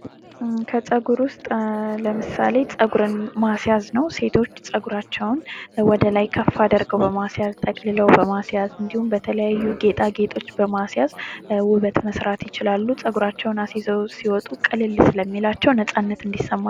ከፀጉር ውስጥ ለምሳሌ ማስያዝ ነው ሴቶች ፀጉራቸውን እነ ወደ ላይ ከፍ አደረገው በማስያዘው በማስያዙ በተለያዩ ጌጣጌጦች በማስያዝ ውበት መስራት ይችላሉ ፀጉራቸውን ሲወጡ ቅልል ስለሚላቸው ነጻነት እንዲሰማቸው